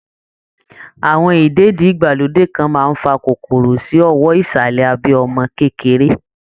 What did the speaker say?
Àwọn ìdèdí-ìgbàlódé kan máa ń fa kòkòrò sí owọ́ ìsàlẹ̀ abẹ́ ọmọ kékeré